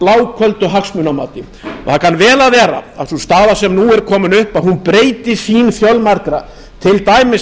bláköldu hagsmunamati það kann vel að vera að sú sýn sem nú er komin upp breyti sýn fjölmargra til dæmis á